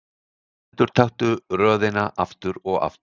Endurtaktu röðina aftur og aftur.